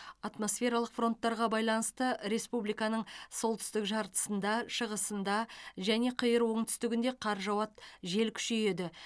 атмосфералық фронттарға байланысты республиканың солтүстік жартысында шығысында және қиыр оңтүстігінде қар жауады жел күшейеді